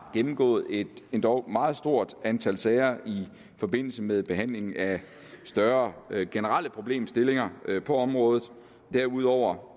gennemgået et endog meget stort antal sager i forbindelse med behandlingen af større generelle problemstillinger på området derudover